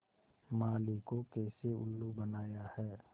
माली को कैसे उल्लू बनाया है